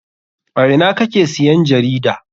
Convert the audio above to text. A ina kake siyan jarida?